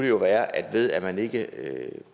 jo være at ved at man ikke